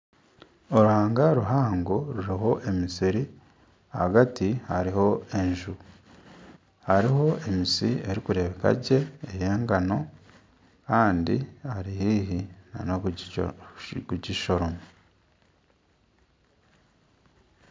Oruhanga ruhango ruriho emisiri ahagati hariho enju hariho emiri erikureebeka gye ey'engano kandi barihaihi kugishoroma